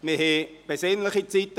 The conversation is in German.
Wir hatten besinnliche Zeiten.